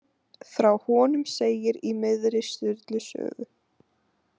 Frá honum segir í miðri Sturlu sögu.